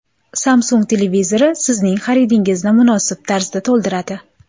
Samsung televizori sizning xaridingizni munosib tarzda to‘ldiradi.